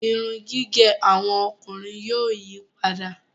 Irun gígé àwọn ọkùnrin yóò yípadà